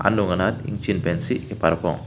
anung anat ingchin pensi ke parpong.